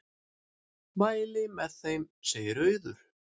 Mæli með þeim, segir Auður.